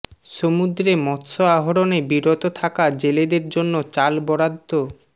সমুদ্রে মৎস্য আহরণে বিরত থাকা জেলেদের জন্য চাল বরাদ্দ